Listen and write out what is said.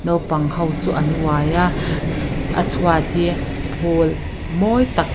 naupang ho chu an uai a a chhuat hi phul mawi tak--